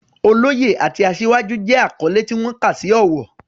Oloye" àti "Asiwaju" jẹ́ àkọ́lé tí wọ́n kà sí ọ̀wọ̀.